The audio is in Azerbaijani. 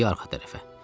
dimdiyi arxa tərəfə.